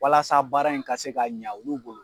Walasa baara in ka se ka ɲa olu bolo.